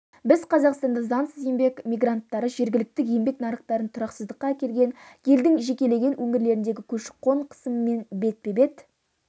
біз қазақстанда заңсыз еңбек мигранттары жергілікті еңбек нарықтарын тұрақсыздыққа әкелген елдің жекелеген өңірлеріндегі көші-қон қысымымен бетпе-бет